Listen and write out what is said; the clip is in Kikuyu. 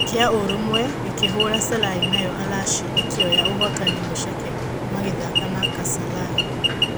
kĩa-ũrũmwe gĩkĩhũra Selai nayo Alashi ĩkĩoya ũhotani mũceke magĩthaka na Kasalai.